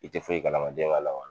I tɛ foyi kalama den ma